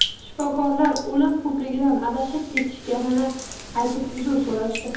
Shifokorlar o‘lim ko‘pligidan adashib ketishganini aytib, uzr so‘rashdi.